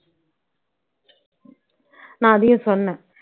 நான் அதையும் சொன்னேன்